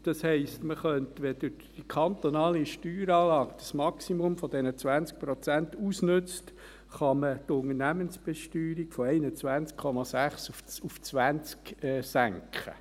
Das heisst, wenn die kantonale Steueranlage das Maximum dieser 20 Prozent ausnützt, kann man die Unternehmensbesteuerung von 21,6 auf 20 Prozent senken.